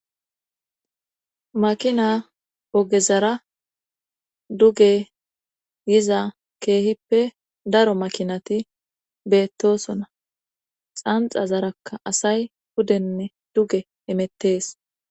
makina ogezara duge yiza keehippe daro makinati beettosona xanxa zarakka asay pudenne duge emettees